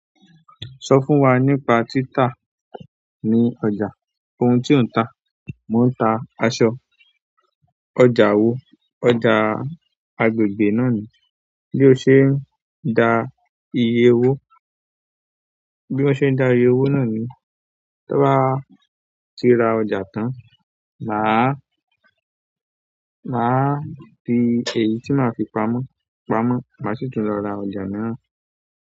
Sọ fún wa nípa títa ní ọjà, ohun tí ò ń ta. Mo ń ta aṣọ. Ọjà wo? Ọjà agbègbè náà ni. Bí o ṣe ń da iye owó? Bí mo ṣe ń dá iye owó náà ni, tan bá ti ra ọjà tán, màá, màá fi èyí tí màá fi pamọ́ pamọ́, màá sì tún lọ ra ọjà náà.